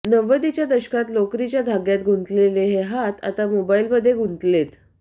नव्वदीच्या दशकात लोकरीच्या धाग्यात गुंतलेले हे हात आता मोबाईलमध्ये गुंतलेत